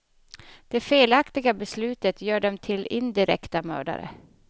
Det felaktiga beslutet gör dem till indirekta mördare.